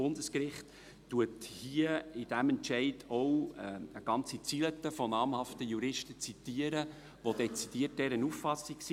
Das Bundesgericht zitiert in diesem Entscheid eine ganze Reihe namhafter Juristen, welche dezidiert dieser Auffassung sind.